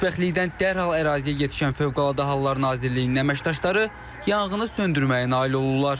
Xoşbəxtlikdən dərhal əraziyə yetişən Fövqəladə Hallar Nazirliyinin əməkdaşları yanğını söndürməyə nail olurlar.